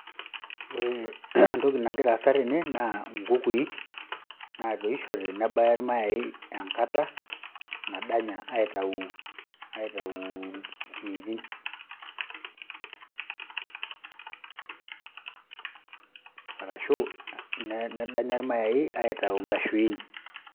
Ore entoki nagira aasa tene naa inkukui naatoishote nebaya iramayai enkata nadanya aitayu, aitayu inkiitin arashu nedanya iramayai aitayu inkshuin.